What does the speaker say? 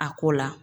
A ko la